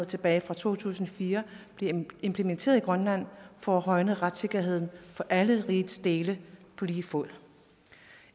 tilbage fra to tusind og fire bliver implementeret i grønland for at højne retssikkerheden for alle rigets dele på lige fod